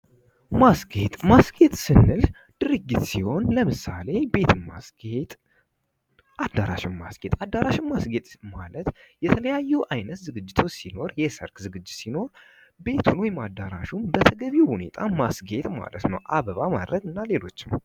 ማስጌጥ ማስጌጥ ስንል ድርጊት ሲሆን ለምሳሌ ቤትን ማስጌጥ አዳራሽን ማስጌጥ አዳራሽን ማስጌጥ ማለት የተለያዩ ዝግጅቶች ሲኖር የሰርግ ዝግጅት ሲኖር ቤትን ወይም አዳራሽን በተገቢው ሁኔታ ማስጌጥ ማለት ነው አበባ ማድረግ እና ሌሎችም።